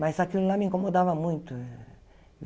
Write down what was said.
Mas aquilo lá me incomodava muito.